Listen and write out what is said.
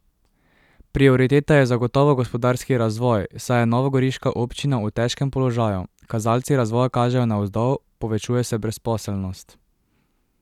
Prioriteta je zagotovo gospodarski razvoj, saj je novogoriška občina v težkem položaju, kazalci razvoja kažejo navzdol, povečuje se brezposelnost.